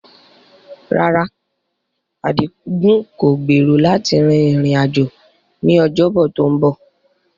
Rárá, Adigun kò gbèrò láti rin ìrìn-àjò ní Ọjọ́bọ̀ tó ń bọ̀.